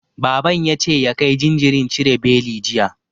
Baban ya ce ya kai jinjirin cire beli, jiya.